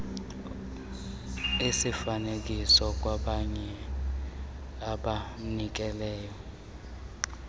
esifanelekileyo kwabanye abanikezeli